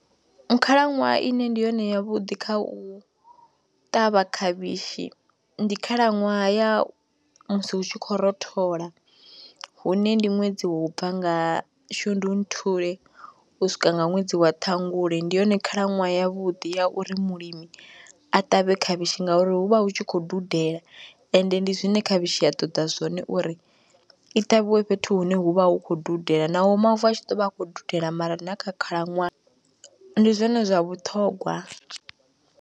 Khalaṅwaha ine ndi yone ya vhuḓi kha u ṱavha khavhishi, ndi khalaṅwaha ya musi hu tshi khou rothola, hune ndi ṅwedzi wou bva nga shundunthule u swika nga ṅwedzi wa ṱhangule, ndi yone khalaṅwaha yavhuḓi ya uri mulimi a ṱavhe khavhishi ngauri hu vha hu tshi khou dudela, ende ndi zwine khavhishi ya ṱoḓa zwone uri i ṱavhiwe fhethu hune hu vha hu khou dudela, naho mavu a tshi ḓo vha a khou dudela mara na kha khalaṅwaha ndi zwone zwa vhuṱhogwa.